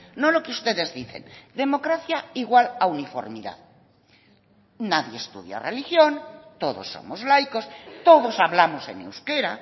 no lo que ustedes dicen democracia igual a uniformidad nadie estudia religión todos somos laicos todos hablamos en euskera